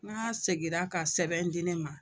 N'a seginra ka sɛbɛn di ne ma